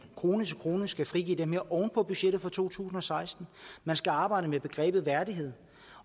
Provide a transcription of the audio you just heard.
krone til krone skal frigive det her oven på budgettet for to tusind og seksten man skal arbejde med begrebet værdighed